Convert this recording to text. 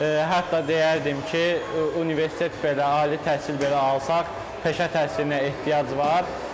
Hətta deyərdim ki, universitet belə, ali təhsil belə alsan, peşə təhsilinə ehtiyac var.